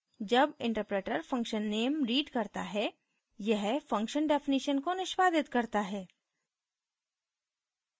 जब interpreter function name reads करता है यह function definition को निष्पादित करता है